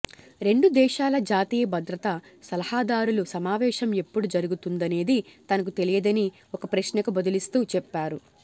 రెండు దేశాల జాతీయ భద్రతా సలహాదారుల సమావేశం ఎప్పుడు జరుగుతుందనేది తనకు తెలియదని ఒక ప్రశ్నకు బదులిస్తూ చెప్పారు